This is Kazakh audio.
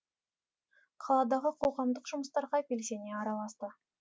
қаладағы қоғамдық жұмыстарға белсене араласты